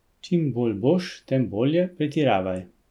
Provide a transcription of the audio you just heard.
Čim bolj boš, tem bolje, pretiravaj.